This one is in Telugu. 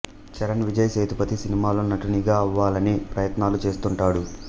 చరణ్ విజయ్ సేతుపతి సినిమాల్లో నటునిగా అవ్వాలని ప్రయత్నాలు చేస్తుంటాడు